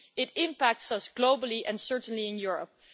This impacts us globally and certainly in Europe.